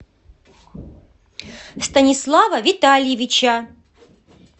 станислава витальевича